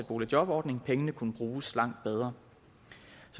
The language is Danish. boligjobordning pengene kunne bruges langt bedre